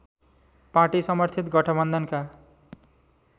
party समर्थित गठबन्धनका